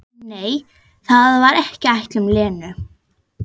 En nei, það var ekki ætlun Lenu.